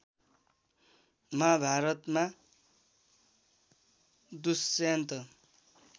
महाभारतमा दुष्यन्त